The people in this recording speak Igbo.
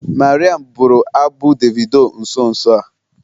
Mariam bụrụ abụ Davido nso nso a.